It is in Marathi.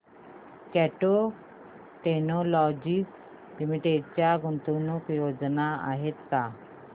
कॅट टेक्नोलॉजीज लिमिटेड च्या गुंतवणूक योजना आहेत का